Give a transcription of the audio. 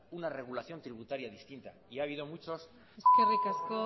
una regulación tributaria distinta y ha habido muchos eskerrik asko